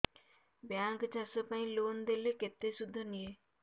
bank ଚାଷ ପାଇଁ loan ଦେଲେ କେତେ ସୁଧ ନିଏ